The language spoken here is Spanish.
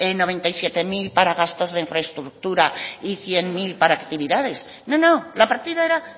noventa y siete mil para gastos de infraestructura y cien mil para actividades no no la partida era